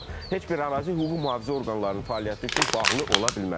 heç bir ərazi hüquq-mühafizə orqanlarının fəaliyyəti üçün bağlı ola bilməz.